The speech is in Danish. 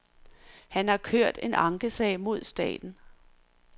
Han har kørt en ankesag mod staten.